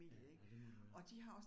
Ja, ja det må det være